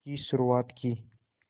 की शुरुआत की